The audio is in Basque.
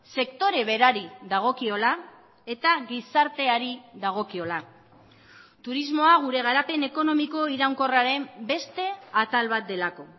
sektore berari dagokiola eta gizarteari dagokiola turismoa gure garapen ekonomiko iraunkorraren beste atal bat delako